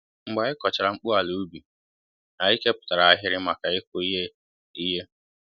Mgbe anyị kọchara mkpu ala ubi, anyị keputara ahịrị maka ịkụ Ihe Ihe